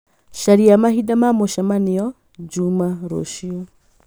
caria mahinda ma mĩcemaniona juma rũciũ